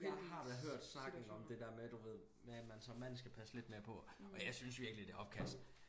Ja har da hørt snakken om det der med du ved med at man som mand skal passe lidt mere på og jeg synes virkelig det opkast